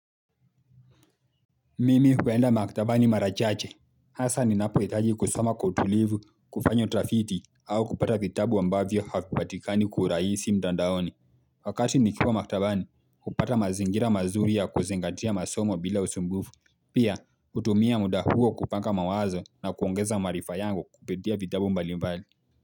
Mimi huenda maktabani mara chache. Hasa ninapohitaji kusoma kwa utulivu, kufanya utafiti au kupata vitabu ambavyo havipatikani kwa urahisi mtandaoni. Wakati nikiwa maktabani hupata mazingira mazuri ya kuzingatia masomo bila usumbufu. Pia, hutumia muda huo kupanga mawazo na kuongeza maarifa yangu kupitia vitabu mbali mbali.